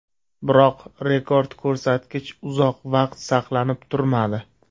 Biroq rekord ko‘rsatkich uzoq vaqt saqlanib turmadi.